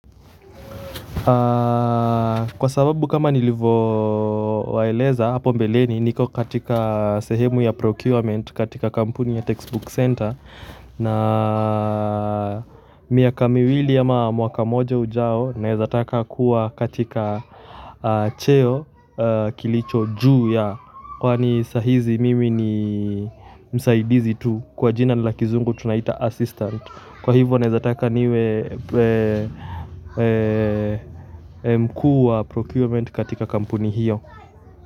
Kwa sababu kama nilivowaeleza hapo mbeleni niko katika sehemu ya procurement katika kampuni ya textbook center na miaka miwili ama mwaka moja ujao naeza taka kuwa katika cheo kilicho juu ya kwani saa hizi mimi ni msaidizi tu kwa jina la kizungu tunaita assistant kwa hivyo naeza taka niwe mkuu wa procurement katika kampuni hiyo.